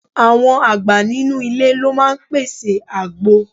Àwọn àgbà nínú ilé ló máa ń pèsè àgbo.